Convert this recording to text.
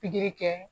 Pikiri kɛ